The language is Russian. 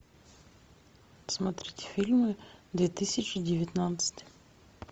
смотреть фильмы две тысячи девятнадцать